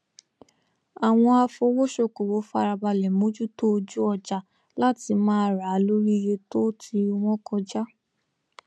àwọn afowósókowò farabalẹ mojuto ojú ọjà láti má ra a lori iye to ti wọn kọja